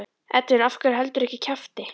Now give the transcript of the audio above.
Edwin af hverju heldurðu ekki kjafti?